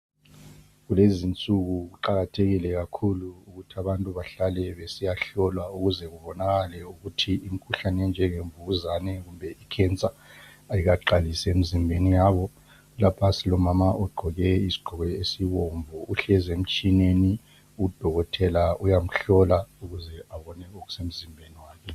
Kulezinsuku kuqakathekile kakhulu ukuthi abantu bahlale besiyahlolwa ukuze kubonakale ukuthi imikhuhlane enjengemvukuzane kumbe icancer ayikaqalisi emizimbeni yabo. Lapha silomama ogqoke isigqoko esibomvu uhlezi emtshineni udokotela uyamhlola ukuze abone okusemzimbeni wakhe.